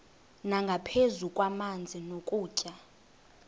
nangaphezu kwamanzi nokutya